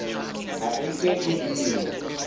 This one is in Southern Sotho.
ha e ke e binwa